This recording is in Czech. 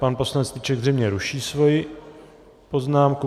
Pan poslanec Strýček zřejmě ruší svoji poznámku.